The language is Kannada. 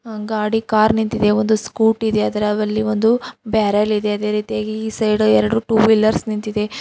ಆ ಗಾಡಿ ಕಾರ್ ನಿಂತಿದೆ ಒಂದು ಸ್ಕೂಟಿ ಇದೆ ಅದರಾದಲ್ಲಿ ಒಂದು ಬ್ಯಾರೆಲ್ ಇದೆ ಅದೇ ರೀತಿಯಾಗಿ ಈ ಸೈಡು ಎರಡು ಟೂ ವಿಲ್ಲರ್ಸ್ ನಿಂತಿದೆ.